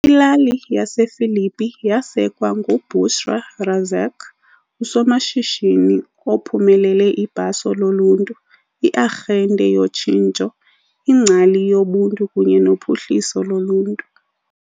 Ilali yasePhilippi yasekwa nguBushra Razack , usomashishini ophumelele ibhaso loluntu, iarhente yotshintsho, ingcali yobuntu kunye nophuhliso loluntu.